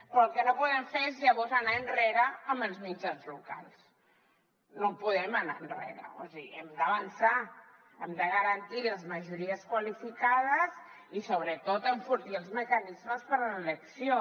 però el que no podem fer és llavors anar enrere amb els mitjans locals no podem anar enrere o sigui hem d’avançar hem de garantir les majories qualificades i sobretot enfortir els mecanismes per a l’elecció